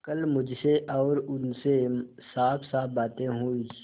कल मुझसे और उनसे साफसाफ बातें हुई